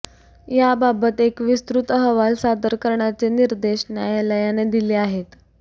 याबाबत एक विस्तृत अहवाल सादर करण्याचे निर्देश न्यायालयाने दिले आहेत